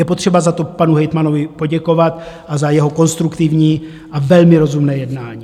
Je potřeba za to panu hejtmanovi poděkovat a za jeho konstruktivní a velmi rozumné jednání.